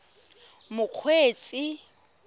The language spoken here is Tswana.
mokgweetsi